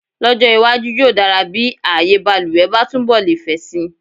Lọ́jọ́ iwájú, yóò dára bí ààyèbaluwẹ̀ bá túnbọ̀ lè fẹ̀ si.